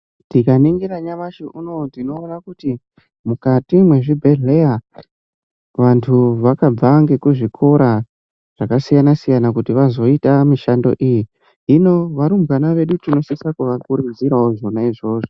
Tikaningira nyamashi unowu tinoona kuti mukati mwezvibhedhleya vantu vakabva ngekuzvikora zvakasiyana siyana kuti vazoita mishando iyi hino vatumbwana vedu tinosisa kuvakurudzirawo zvona izvozvo.